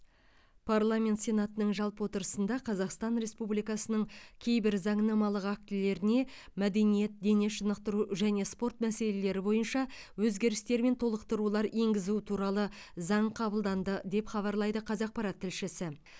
парламент сенатының жалпы отырысында қазақстан республикасының кейбір заңнамалық актілеріне мәдениет дене шынықтыру және спорт мәселелері бойынша өзгерістер мен толықтырулар енгізу туралы заң қабылданды деп хабарлайды қазақпарат тілшісі